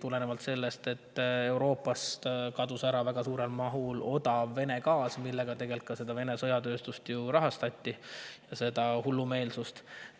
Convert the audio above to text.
tulenevalt sellest, et Euroopast kadus väga suures mahus ära odav Vene gaas, millega tegelikult Vene sõjatööstust, seda hullumeelsust, ju rahastati.